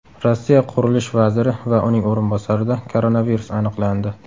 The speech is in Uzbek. Rossiya qurilish vaziri va uning o‘rinbosarida koronavirus aniqlandi.